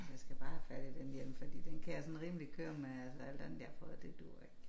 Jeg skal bare have fat i den hjelm fordi den kan jeg sådan rimelig køre med alt andet jeg har fået det duer ikke